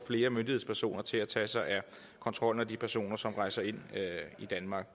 flere myndighedspersoner til at tage sig af kontrollen og de personer som rejser ind i danmark